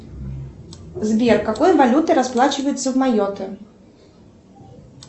сбер какой валютой расплачиваются в майотта